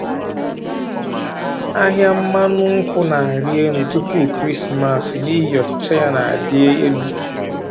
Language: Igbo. Ahịa mmanụ nkwụ na-arị elu tupu Kraịstmas n’ihi ọchịchọ ya na-adị elu.